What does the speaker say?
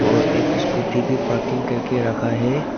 और एक स्कूटी भी पार्किंग करके रखा है।